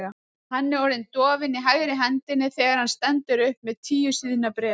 Hann er orðinn dofinn í hægri hendinni þegar hann stendur upp með tíu síðna bréf.